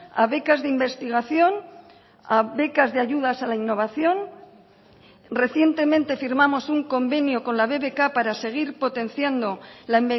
a becas de investigación a becas de ayudas a la innovación recientemente firmamos un convenio con la bbk para seguir potenciando la